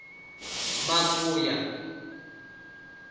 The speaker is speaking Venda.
makuya